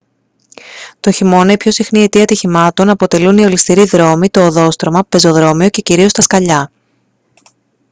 τον χειμώνα η πιο συχνή αιτία ατυχημάτων αποτελούν οι ολισθηροί δρόμοι το οδόστρωμα πεζοδρόμιο και κυρίως τα σκαλιά